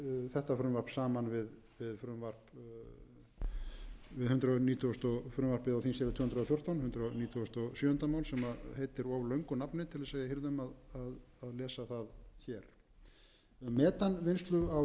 þetta frumvarp saman við hundrað nítugustu frumvarpið á þingskjali tvö hundruð og fjórtán hundrað nítugasta og sjöunda mál sem heitir of löngu nafni til að við hinum að lesa það hér um metanvinnslu á